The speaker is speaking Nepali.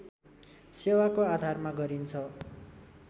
सेवाको आधारमा गरिन्छ